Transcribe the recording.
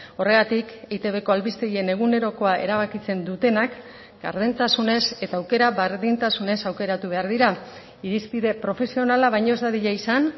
horregatik eitbko albistegien egunerokoa erabakitzen dutenak gardentasunez eta aukera berdintasunez aukeratu behar dira irizpide profesionala baino ez dadila izan